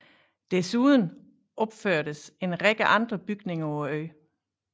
Desuden opførtes en række andre bygninger på øen